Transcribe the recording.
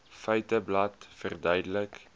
feiteblad verduidelik